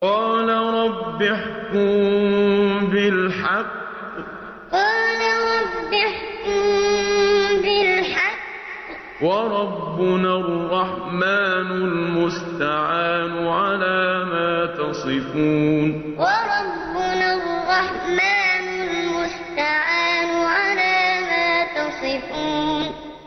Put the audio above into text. قَالَ رَبِّ احْكُم بِالْحَقِّ ۗ وَرَبُّنَا الرَّحْمَٰنُ الْمُسْتَعَانُ عَلَىٰ مَا تَصِفُونَ قَالَ رَبِّ احْكُم بِالْحَقِّ ۗ وَرَبُّنَا الرَّحْمَٰنُ الْمُسْتَعَانُ عَلَىٰ مَا تَصِفُونَ